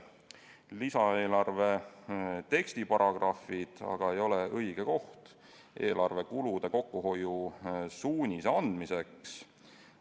Lisaeelarve tekstiparagrahvid aga ei ole õige koht eelarvekulude kokkuhoiu suuniste andmiseks.